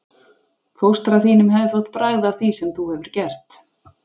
Fóstra þínum hefði þótt bragð að því sem þú hefur gert.